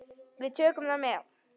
Við tökum það með.